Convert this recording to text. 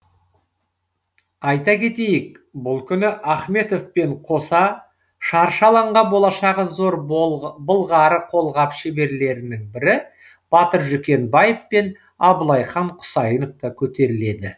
айта кетейік бұл күні ахметовпен қоса шаршы алаңға болашағы зор болғары қолғап шеберлерінің бірі батыр жүкенбаев пен абылайхан құсайынов та көтеріледі